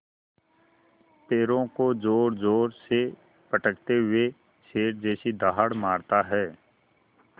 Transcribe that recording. पैरों को ज़ोरज़ोर से पटकते हुए शेर जैसी दहाड़ मारता है